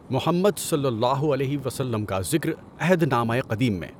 محمد صلی اللہ علیہ وسلم کا ذکر عہد نامۂ ِقدیم میں۔